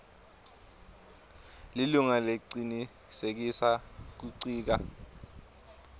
lilunga lecinisekisa kuncika